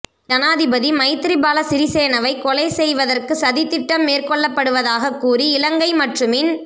ஜனாதிபதி மைத்திரிபால சிறிசேனவை கொலை செய்வதற்கு சதித்திட்டம் மேற்கொள்ளப்படுவதாக கூறி இலங்கை மற்றுமின்